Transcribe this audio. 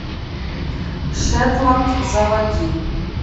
шетланд заводи